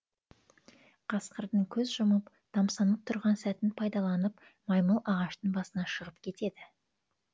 қасқырдың көз жұмып тамсанып тұрған сәтін пайдаланып маймыл ағаштың басына шығып кетеді